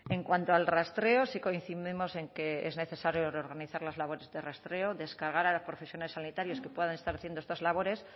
en cuanto al rastreo sí coincidimos en que es necesario reorganizar las labores de rastreo descargar a los profesionales sanitarios que puedan estar haciendo estas labores